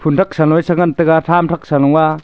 phunthak senoi sengan taiga thamthak sanoa.